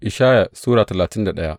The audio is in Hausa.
Ishaya Sura talatin da daya